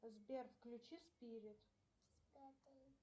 сбер включи спирит